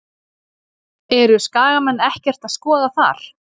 Eru Skagamenn ekkert að skoða þar?